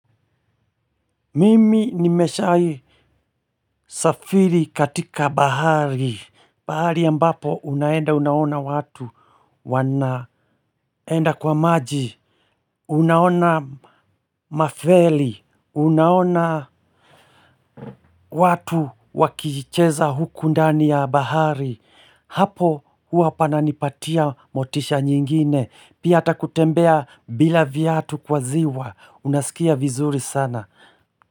Mimi nimeshai safiri katika bahari. Bahari ambapo unaenda unaona watu wanaenda kwa maji. Unaona Mafeli. Unaona watu wakicheza huku ndani ya bahari. Hapo huwa pananipatia motisha nyingine pia hata kutembea bila viatu kwa ziwa unasikia vizuri sana.